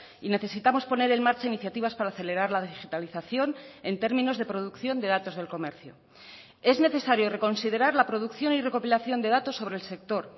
y necesitamos poner en marcha iniciativas para acelerar la digitalización en términos de producción de datos del comercio es necesario reconsiderar la producción y recopilación de datos sobre el sector